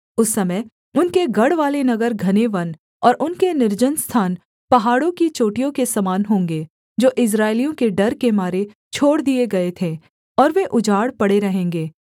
उस समय उनके गढ़वाले नगर घने वन और उनके निर्जन स्थान पहाड़ों की चोटियों के समान होंगे जो इस्राएलियों के डर के मारे छोड़ दिए गए थे और वे उजाड़ पड़े रहेंगे